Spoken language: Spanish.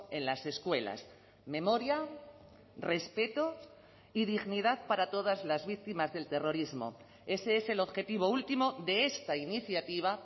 en las escuelas memoria respeto y dignidad para todas las víctimas del terrorismo ese es el objetivo último de esta iniciativa